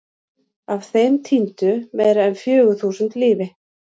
Af þeim týndu meira en fjögur þúsund lífi.